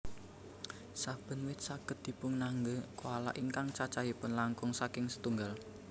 Saben wit saged dipunanggé koala ingkang cacahipun langkung saking setunggal